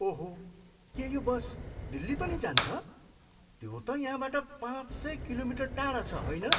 ओहो! के यो बस दिल्ली पनि जान्छ? त्यो त यहाँबाट पाँच सय किलोमिटर टाढा छ, होइन?